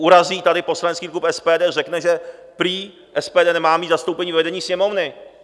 Urazí tady poslanecký klub SPD, řekne, že prý SPD nemá mít zastoupení ve vedení Sněmovny.